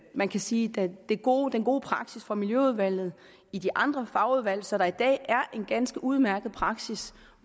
man kan sige den gode den gode praksis fra miljøudvalget i de andre fagudvalg så der i dag er en ganske udmærket praksis